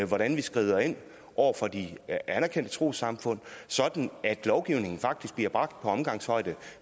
hvordan vi skrider ind over for de anerkendte trossamfund sådan at lovgivningen faktisk bliver bragt på omgangshøjde